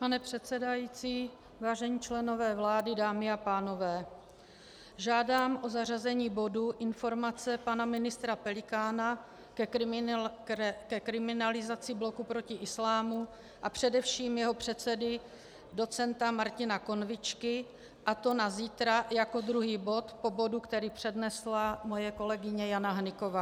Pane předsedající, vážení členové vlády, dámy a pánové, žádám o zařazení bodu Informace pana ministra Pelikána ke kriminalizaci Bloku proti islámu a především jeho předsedy docenta Martina Konvičky, a to na zítra jako druhý bod po bodu, který přednesla moje kolegyně Jana Hnyková.